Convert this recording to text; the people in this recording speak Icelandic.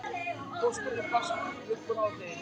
Pósturinn barst upp úr hádegi.